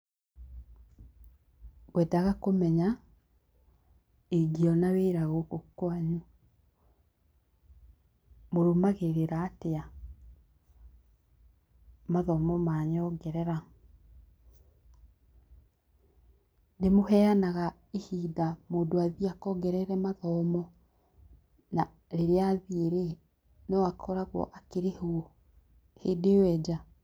Ngwendaga kũmenya, ingĩona wĩra gũkũ kwanyu, mũrũmagĩrĩra atia mathomo ma nyongerera. Nĩmũheanaga ihinda mũndũ athiĩ akongerere mathomo, na rĩrĩa athiĩ rĩ, no akoragwo akĩrĩhwo hĩndĩ ĩyo e nja?